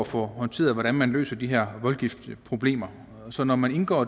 få håndteret hvordan man løser de her voldgiftsproblemer så når man indgår